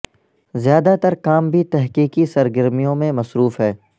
زیادہ تر کام بھی تحقیقی سرگرمیوں میں مصروف ہے